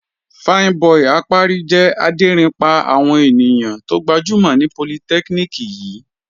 Fine boi Apari jẹ́ adérin pá àwọn ènìyàn tó gbajúmọ̀ ní polytechnic yìí.